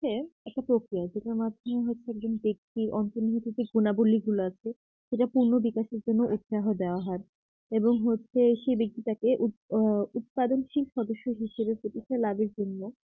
হচ্ছে একটা প্রক্রিয়া যেটার মাধ্যমে হচ্ছে একজন ব্যক্তি অন্তর্নিহিত যে গুণাবলী গুলো আছে সেটা পূর্ন বিকাশের জন্য উৎসাহ দেওয়া হয় এবং হচ্ছে সেই ব্যক্তিটাকে আ উৎপাদনশীল সদস্য হিসেবে প্রতিষ্ঠা লাভের জন্য